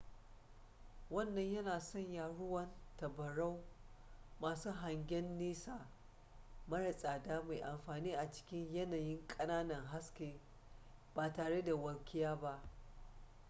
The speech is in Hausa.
wannan yana sanya ruwan tabarau masu hangyen nesa mara tsada mai amfani a cikin yanayin ƙananan haske ba tare da walƙiya ba